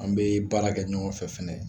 An bɛ baara kɛ ɲɔgɔn fɛ fana